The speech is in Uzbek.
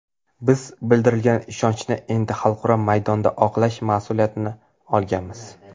Biz bildirilgan ishonchni endi xalqaro maydonda oqlash mas’uliyatini olganmiz.